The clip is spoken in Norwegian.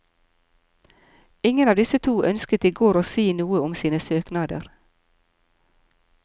Ingen av disse to ønsket i går å si noe om sine søknader.